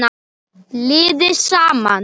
Liði safnað.